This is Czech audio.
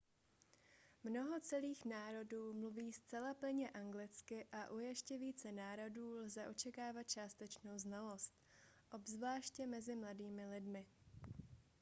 mnoho celých národů mluví zcela plynně anglicky a u ještě více národů lze očekávat částečnou znalost obzvláště mezi mladými lidmi